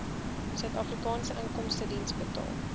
suidafrikaanse inkomstediens betaal